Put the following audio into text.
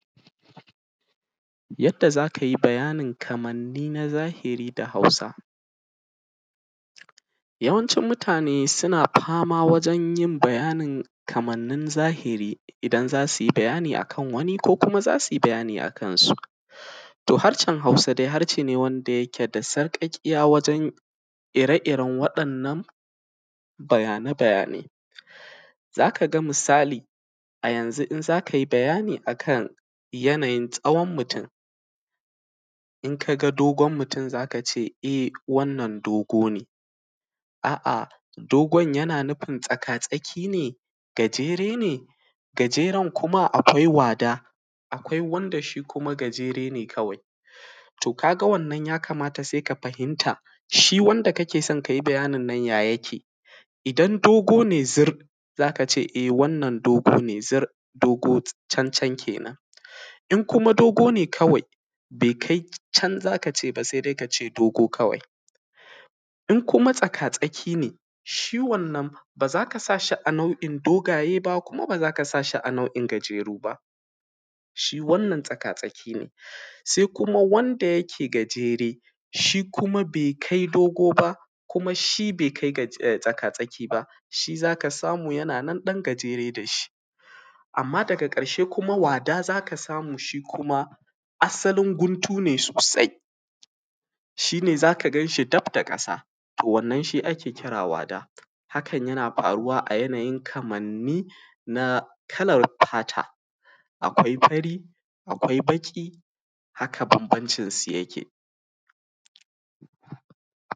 Yadda za ka yi bayanin kamanni na zahiri da Hausa yawancin mutane suna fama wajen yin bayanin kamannin zahiri idan za su yi bayani a kan wani ko kuma za su yi bayani a kansu. To, harshen Hausa dai harshe ne wanda yake da sarƙaƙiya wajen yin waɗannan bayane-bayane za ka ga misali yanzu in za kai bayani a kan yanayin tsawon mutun in ka ga dogon mutun za ka ce wannan dogo ne. a’a dogon yana nufin gajere ne, tsakatsakiya ne, akwai wada, akwai wanda shi kuma gajere ne kawai, to ka ga wannan ya kamata sai ka fahimta ka ga shi wannan wanda ake so ka yi bayaninsa ya yake? Idan dogo ne zur za ka ce, e wannan dogo ne zur, dogo can can kenan, in kuma dogo ne kawai sai ka ce dogo kawai, in kuma tsakatsaki ne shi wannan ba za ka sa shi a nau’in dogo ba, kuma ba za ka sa shi a nau’in gajere ba. Sai kuma wanda yake gajere shi kuma bai kai tsakatsaki ba, shi za ka samu yana nan ɗan gajere da shi, amma daga ƙarshe wada za ka samu shi kuma asalin guntu ne sosai shi ne za ka gan shi gab da ƙasa to wannan shi ne wada, hakan yana faruwa a yanayin kamanni na kalar fata, akwai fari, akwai baƙi haka banbancin su yake.